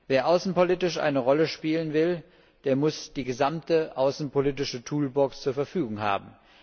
Wer außenpolitisch eine Rolle spielen will, der muss die gesamte außenpolitische Toolbox zur Verfügung haben.